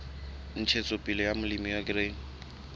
ntshetsopele ya molemi wa grain